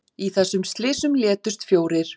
Í þessum slysum létust fjórir